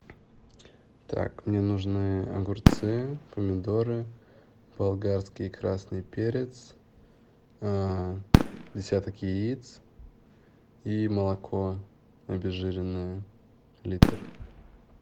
так мне нужны огурцы помидоры болгарский красный перец десяток яиц и молоко обезжиренное литр